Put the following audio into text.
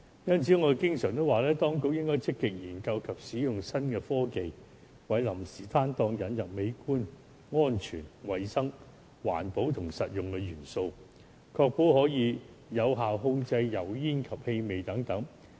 因此，我經常說，當局應該積極研究及使用新科技，為臨時攤檔引入美觀、安全、衞生、環保及實用的元素，確保有效控制油煙及氣味等。